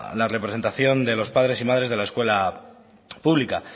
la representación de los padres y madres de la escuela pública